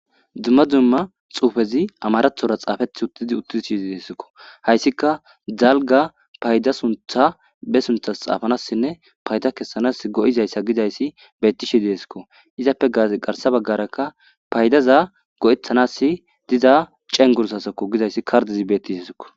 dumma dzumma xuufezi amarathora xaafethi uttidi utti shii deesikko hayssika dzalga payda suntha be sunthas xaafanassinne payda kessanas go7izayssa gidayssi betti shiieesikko izappe as garsa baggarakka paydaza go7etanass diza cengursasakko gidayssi kardizi betti sissiko